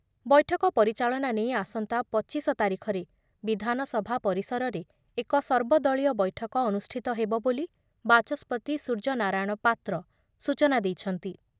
ବୈଠକ ପରିଚାଳନା ନେଇ ଆସନ୍ତା ପଚିଶ ତାରିଖରେ ବିଧାନସଭା ପରିସରରେ ଏକ ସର୍ବଦଳୀୟ ବୈଠକ ଅନୁଷ୍ଠିତ ହେବ ବୋଲି ବାଚସ୍ପତି ସୂର୍ଯ୍ୟନାରାୟଣ ପାତ୍ର ସୂଚନା ଦେଇଛନ୍ତି ।